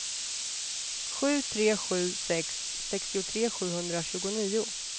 sju tre sju sex sextiotre sjuhundratjugonio